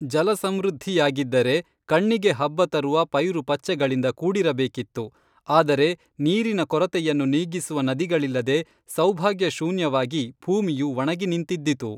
ಜಲಸಮೃದ್ಧಿಯಾಗಿದ್ದರೆ ಕಣ್ಣಿಗೆ ಹಬ್ಬ ತರುವ ಪೈರುಪಚ್ಚೆಗಳಿಂದ ಕೂಡಿರಬೇಕಿತ್ತು ಆದರೆ ನೀರಿನ ಕೊರತೆಯನ್ನು ನೀಗಿಸುವ ನದಿಗಳಿಲ್ಲದೆ ಸೌಭಾಗ್ಯ ಶೂನ್ಯವಾಗಿ ಭೂಮಿಯು ಒಣಗಿ ನಿಂತಿದ್ದಿತು